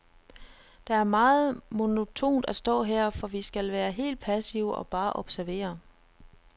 Det er meget monotont at stå her, for vi skal være helt passive og bare observere.